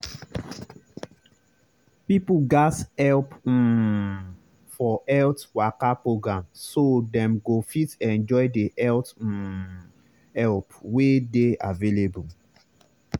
people gatz help um for health waka program so dem go fit enjoy the health um help wey dey available.